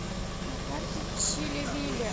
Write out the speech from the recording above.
на карте чилли вилли